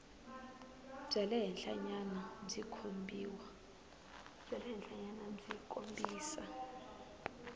bya le henhlanyana byi kombisa